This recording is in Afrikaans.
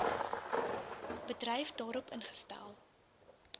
bedryf daarop ingestel